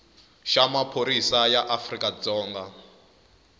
xa maphorisa ya afrika dzonga